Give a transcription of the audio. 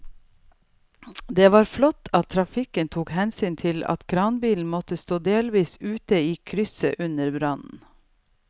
Det var flott at trafikken tok hensyn til at kranbilen måtte stå delvis ute i krysset under brannen.